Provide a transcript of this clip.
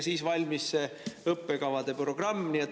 Siis valmis õppekavade programm.